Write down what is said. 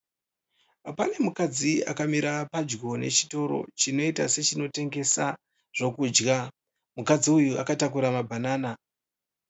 Pane mukadzi akamira padyo nechitoro, chinoita sechinotengesa zvekudya. Mukadzi uyu akatakura mabhanana.